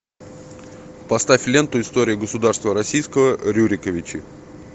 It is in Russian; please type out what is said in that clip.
поставь ленту история государства российского рюриковичи